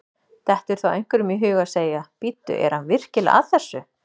Dettur þá einhverjum í hug að segja: Bíddu, er hann virkilega að þessu?